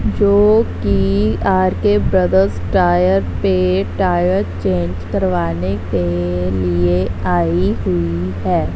जो की R K brothers tyre पे टायर चेंज करवाने के लिए आई हुई है।